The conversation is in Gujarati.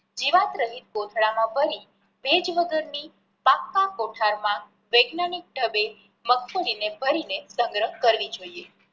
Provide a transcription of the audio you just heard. જીવાત રહિત કોથળા માં ભરી ભેજ વગર ની કોઠાર માં વૈજ્ઞાનિક ઢબે મગફળી ને ભરી ને સંગ્રહ કરવી જોઈએ.